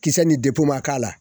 Kisɛ nin ma k'a la